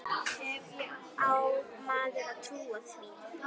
Á maður að trúa því?